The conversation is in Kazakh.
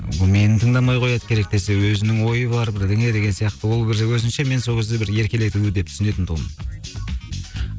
бұл мені тыңдамай қояды керек десе өзінің ойы бар бірдеңе деген сияқты ол бір өзінше мен сол кезде бір еркелетуі деп түсінетін тұғым